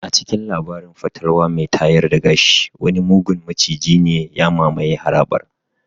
A cikin labarin fatalwa mai tayar da gashi wani mugun maciji ne ya mamaye harabar.